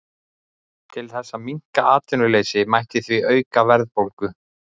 Til þess að minnka atvinnuleysi mætti því auka verðbólgu.